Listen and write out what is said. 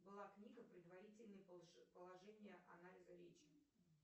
была книга предварительное положение анализа речи